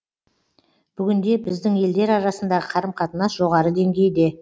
бүгінде біздің елдер арасындағы қарым қатынас жоғары деңгейде